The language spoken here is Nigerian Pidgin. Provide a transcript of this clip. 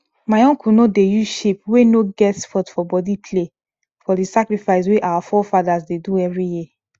my uncle no dey use sheep wey no get spot for body play for the sacrifice wey our forefathers dey do every year